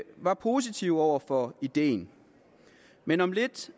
var positive over for ideen men om lidt